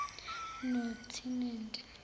notinendi